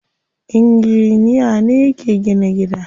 Inginiya ne yake gina gida.